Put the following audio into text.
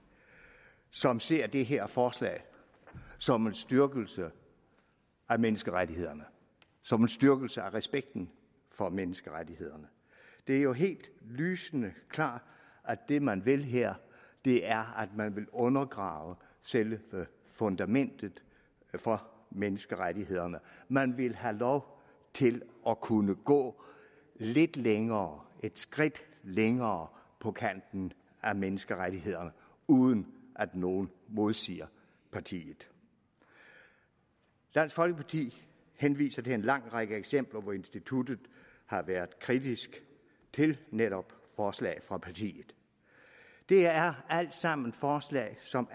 som ser det her forslag som en styrkelse af menneskerettighederne som en styrkelse af respekten for menneskerettighederne det er jo helt lysende klart at det man vil her er at man vil undergrave selve fundamentet for menneskerettighederne man vil have lov til at kunne gå lidt længere et skridt længere på kanten af menneskerettighederne uden at nogen modsiger partiet dansk folkeparti henviser til en lang række eksempler hvor instituttet har været kritisk til netop forslag fra partiet det er alt sammen forslag som